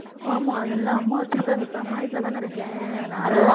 ஆமா அதெல்லாம் அம்மா வச்சிருக்காங்க இப்ப அம்மா வீட்டுல தானே இருக்கேன் அதனால